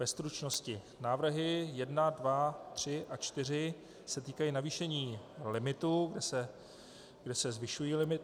Ve stručnosti: Návrhy 1, 2, 3 a 4 se týkají navýšení limitů, kde se zvyšují limity.